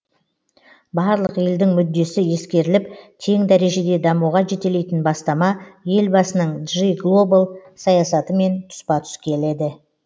барлық елдің мүддесі ескеріліп тең дәрежеде дамуға жетелейтін бастама елбасының джи глобал саясатымен тұспа тұс келеді